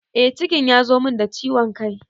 Eh cikin ya zo min da ciwon kai